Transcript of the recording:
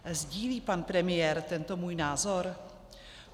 Sdílí pan premiér tento můj názor?